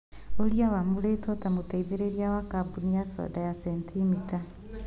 ũrĩa wamũrĩtwo ta mũteithĩrĩria wa kambuni ya soda ya sentimita